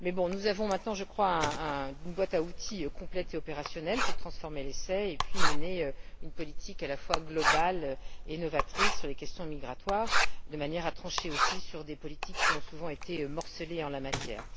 Nous disposons maintenant d'une boîte à outils complète et opérationnelle pour transformer l'essai et mener une politique à la fois globale et novatrice sur les questions migratoires, de manière à trancher aussi sur des politiques qui ont souvent été morcelées en la matière.